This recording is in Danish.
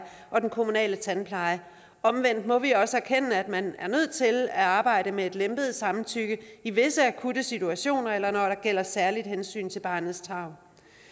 og den kommunale tandpleje omvendt må vi også erkende at man er nødt til at arbejde med et lempet samtykke i visse akutte situationer eller når der gælder særlige hensyn til barnets tarv